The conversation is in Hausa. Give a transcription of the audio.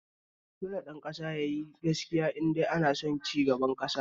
Dole ɗan ƙasa yayi gaskiya indai ana son cigaba a ƙasa